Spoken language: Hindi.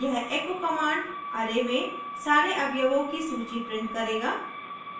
यह echo command array में सारे अवयवों की सूची print करेगा